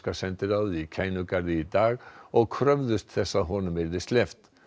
sendiráðið í Kænugarði í dag og kröfðust þess að honum yrði sleppt